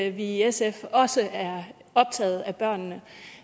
i sf også er optaget af børnene